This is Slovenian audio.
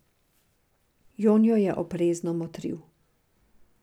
Jon jo je oprezno motril.